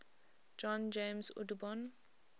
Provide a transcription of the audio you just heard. john james audubon